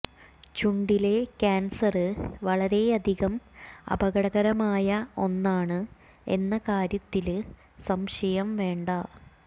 ചുണ്ടിലെ cancer വളരെയധികം അപകടകരമായ ഒന്നാണ് എന്ന കാര്യത്തില് സംശയം വേണ്ട